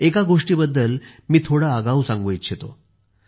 एका गोष्टीबद्दल मी थोडे आगाऊ सांगू इच्छितो